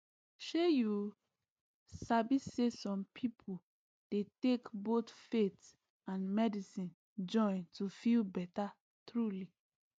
shey you sabi saysome people dey take both faith and medicine join to feel better truly